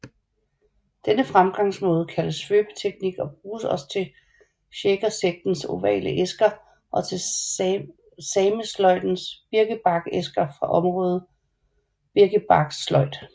Denne fremgangsmåde kaldes svøbeteknik og bruges også til shakersektens ovale æsker og til samesløjdens birkebarksæsker fra området birkebarkssløjd